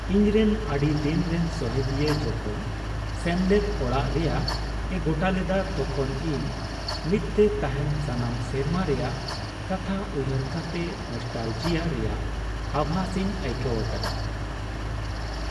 ᱤᱧᱨᱮᱱ ᱟᱹᱰᱤᱫᱤᱱ ᱨᱮᱱ ᱥᱚᱦᱮᱫᱤᱭᱟᱹ ᱡᱚᱠᱷᱚᱱ ᱥᱮᱢᱞᱮᱫ ᱟᱲᱟᱜ ᱨᱮᱭᱟᱜ ᱮ ᱜᱚᱴᱟ ᱞᱮᱫᱟ ᱛᱚᱠᱷᱚᱱ ᱤᱧ ᱢᱤᱫᱛᱮ ᱛᱟᱦᱮᱱ ᱥᱟᱱᱟᱢ ᱥᱮᱨᱢᱟ ᱨᱮᱭᱟᱜ ᱠᱟᱛᱷᱟ ᱩᱭᱦᱟᱹᱨ ᱠᱟᱛᱮ ᱱᱚᱥᱴᱟᱞᱡᱤᱭᱟᱹ ᱨᱮᱭᱟᱜ ᱟᱵᱷᱟᱥ ᱤᱧ ᱟᱹᱭᱠᱟᱹᱣ ᱟᱠᱟᱫᱟ ᱾